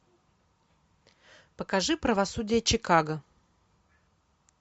покажи правосудие чикаго